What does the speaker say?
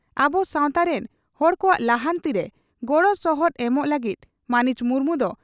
ᱟᱵᱚ ᱥᱟᱣᱛᱟ ᱨᱮᱱ ᱦᱚᱲ ᱠᱚᱣᱟᱜ ᱞᱟᱦᱟᱱᱛᱤ ᱨᱮ ᱜᱚᱲᱚ ᱥᱚᱦᱚᱫ ᱮᱢᱚᱜ ᱞᱟᱹᱜᱤᱫ ᱢᱟᱹᱱᱤᱡ ᱢᱩᱨᱢᱩ ᱫᱚ